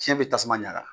Fiɲɛ be tasuma ɲaga